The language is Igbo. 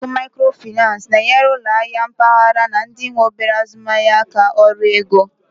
Ụlọ akụ Maikrofinan na-enyere ụlọ ahịa mpaghara na ndị nwe obere azụmaahịa aka ọrụ ego.